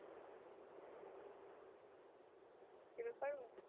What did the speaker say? শুরু করবো